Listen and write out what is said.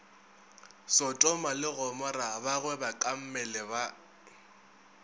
sotoma le gomora bagwebakammele ba